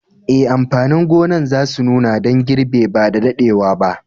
Eh, amfanin gonan za su nuna dan girbi ba da daddewa ba.